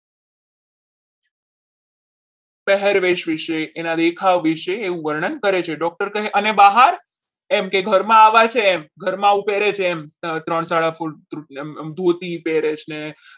પહેરવેશ વિશે એના દેખાવ વિશે એવું વર્ણન કરે છે doctor કહે અને બહાર એમ ઘરમાં આવા છે ઘરમાં આવું પહેરે છે એમ ત્રણ સાદા ફૂટ ધોતી પેરેસ ને